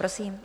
Prosím.